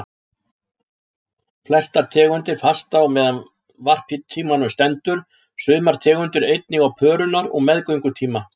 Flestar tegundir fasta á meðan varptímanum stendur, sumar tegundir einnig á pörunar- og meðgöngutíma.